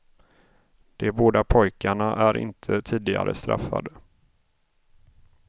De båda pojkarna är inte tidigare straffade.